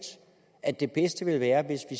at det bedste ville være hvis